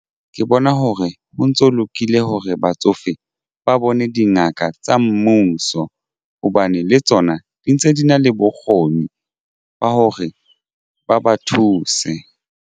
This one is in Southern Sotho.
Ke bona hore ho ntso lokile hore batsofe ba bone dingaka tsa mmuso hobane le tsona di ntse di na le bokgoni ba hore ba ba thuse.